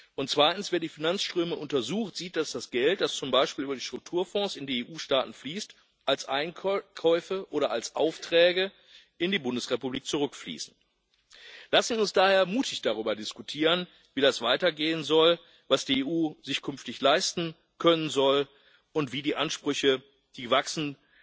Und zweitens Wer die Finanzströme untersucht, sieht, dass das Geld, das z. B. über die Strukturfonds in die EU Staaten fließt, als Einkäufe oder als Aufträge in die Bundesrepublik zurückfließt. Lassen wir uns daher mutig darüber diskutieren, wie das weitergehen soll, was die EU sich künftig leisten können soll und wie die Ansprüche, die wachsen,